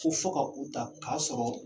K'u fɔ ka u ta, k'a sɔrɔ